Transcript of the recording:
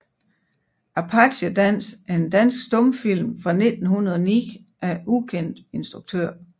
Apache Dans er en dansk stumfilm fra 1909 af ukendt instruktør